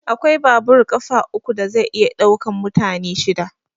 Akwai babur ƙafa uku da zai iya ɗaukan mutane shida.